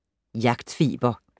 Jagtfeber